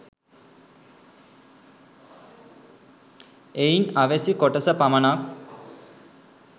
එයින් අවැසි කොටස පමණක්